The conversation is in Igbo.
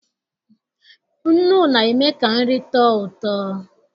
Nnụ na-eme ka nri tọọ ụtọ.